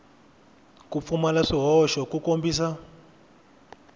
ku pfumala swihoxo ku kombisa